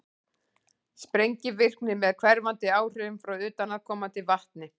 sprengivirkni með hverfandi áhrifum frá utanaðkomandi vatni